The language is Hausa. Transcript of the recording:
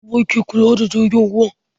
Wa ke kula da jirgin ruwan?